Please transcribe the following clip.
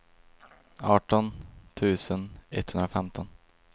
arton tusen etthundrafemton